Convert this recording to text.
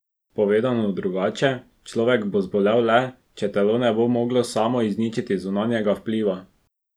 Povedano drugače, človek bo zbolel le, če telo ne bo moglo samo izničiti zunanjega vpliva.